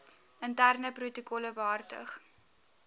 interne protokolle behartig